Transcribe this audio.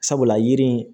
Sabula yiri in